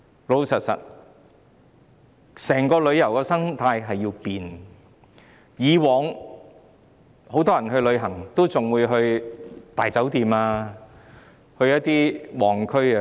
老實說，整體旅遊生態正在改變，以往很多人出外旅行也會在大酒店或到旺區住宿。